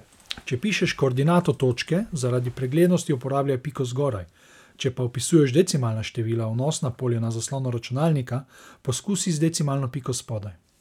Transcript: Če pišeš koordinato točke, zaradi preglednosti uporabljaj piko zgoraj, če pa vpisuješ decimalna števila v vnosna polja na zaslonu računalnika, poskusi z decimalno piko spodaj.